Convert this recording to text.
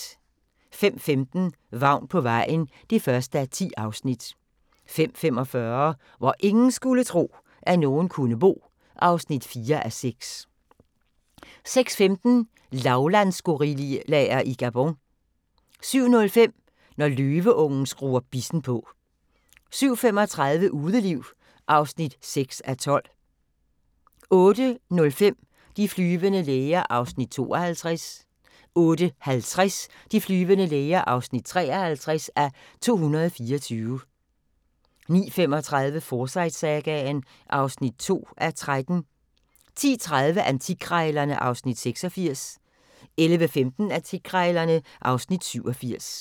05:15: Vagn på vejen (1:10) 05:45: Hvor ingen skulle tro, at nogen kunne bo (4:6) 06:15: Lavlandsgorillaer i Gabon 07:05: Når løveungen skruer bissen på 07:35: Udeliv (6:12) 08:05: De flyvende læger (52:224) 08:50: De flyvende læger (53:224) 09:35: Forsyte-sagaen (2:13) 10:30: Antikkrejlerne (Afs. 86) 11:15: Antikkrejlerne (Afs. 87)